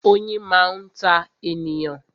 Oyin máa ń ta ènìyàn ni